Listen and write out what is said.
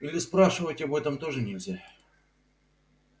или спрашивать об этом тоже нельзя